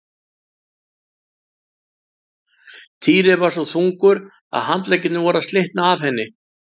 Týri var svo þungur að handleggirnir voru að slitna af henni.